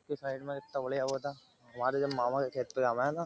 इसके साइड में इतना बढियां वो था। हमारे में जब मामा के खेत में जावें हैं ना